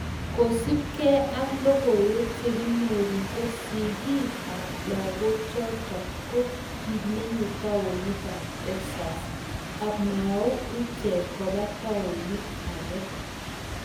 Kosup Kee ak logoiwek chekinyoru ko sigik ab lagochotok ko kimenye taonit ab texus amau ichek kopa taunit age.